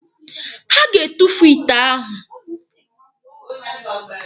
Ha ga-etufu ite ahụ.